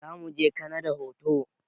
Zamuje kanada hutu